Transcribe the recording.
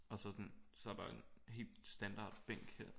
Og så sådan så er der en helt standard bænk her